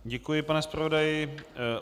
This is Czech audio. Děkuji, pane zpravodaji.